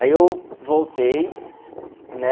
Aí eu voltei, né?